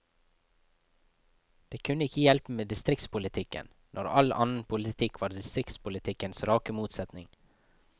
Det kunne ikke hjelpe med distriktspolitikken, når all annen politikk var distriktspolitikkens rake motsetning.